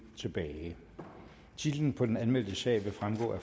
tilbage titlen på den anmeldte sag vil fremgå af